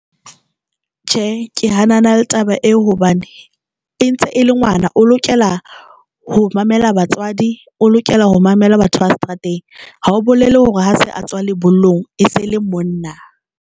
Tjhe, ke hanana le taba eo hobane e ntse e le ngwana o lokela ho mamela batswadi, o lokela ho mamela batho ba seterateng. Ha o bolele hore ha se a tswa lebollong e se e le monna.